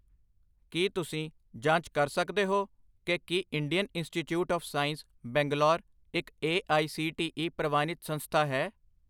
ਕੀ ਤੁਸੀਂ ਜਾਂਚ ਕਰ ਸਕਦੇ ਹੋ ਕਿ ਕੀ Indian Institute of Science Bangalore ਇੱਕ A I C T E ਪ੍ਰਵਾਨਿਤ ਸੰਸਥਾ ਹੈ?